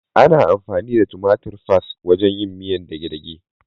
Ana amfani da tumatir fas (tomato paste) wajen yin miyar dage-dage.